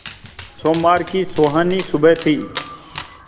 सोमवार की सुहानी सुबह थी